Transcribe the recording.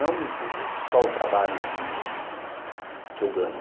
Não só o trabalho que eu ganho.